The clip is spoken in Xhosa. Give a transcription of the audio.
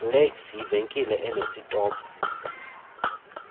lecs yivenkile enesitophu